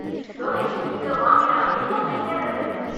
donation இவ்ளோ வாங்கினா எங்க போய் சேர்றது